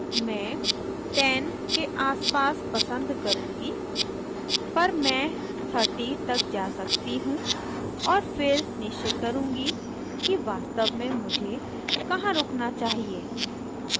मैं 10 के आसपास पसंद करुँगी पर मैं 30 तक जा सकती हूँ और फिर निश्चय करुँगी कि वास्तव में मुझे कहाँ रुकना चाहिए